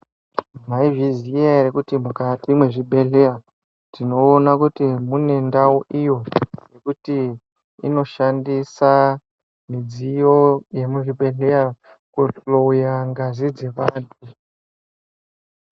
Maizviziya here kuti mukati mezvibhedhlera mune ndau iyo yekuti inoshandisa midziyo yemuzvibhedhlera kuhloya ngazi dzevantu.